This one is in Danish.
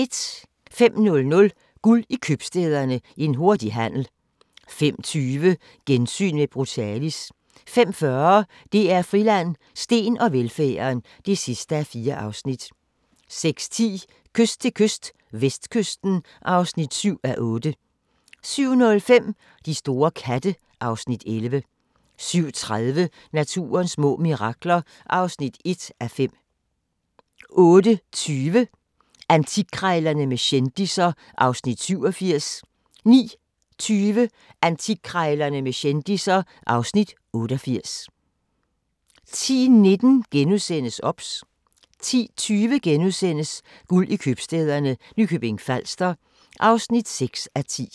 05:00: Guld i Købstæderne – En hurtig handel 05:20: Gensyn med Brutalis 05:40: DR Friland: Steen og velfærden (4:4) 06:10: Kyst til kyst - vestkysten (7:8) 07:05: De store katte (Afs. 11) 07:30: Naturens små mirakler (1:5) 08:20: Antikkrejlerne med kendisser (Afs. 87) 09:20: Antikkrejlerne med kendisser (Afs. 88) 10:19: OBS * 10:20: Guld i købstæderne – Nykøbing Falster (6:10)*